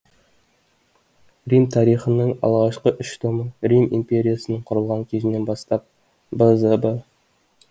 рим тарихының алғашқы үш томы рим империясының құрылған кезінен бастап б з б